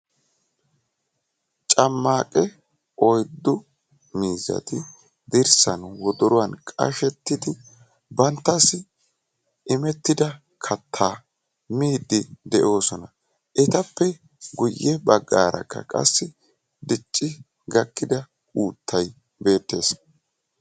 Cammaaqe oyddu miizzati dirssan wodoruwaan qashshettidi banttassi imettida kattaa miiddi de'oosona. etappe guye baggaarakka qassi dicci gakkida uuttay beettees.